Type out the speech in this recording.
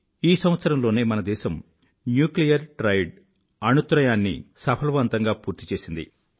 ఈ సంవత్సరంలోనే మన దేశం న్యూక్లియర్ ట్రయాడ్ అణు త్రయం ను సఫలవంతంగా పూర్తి చేసింది